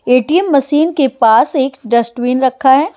ATM machine के पास एक डस्टबिन रखा है।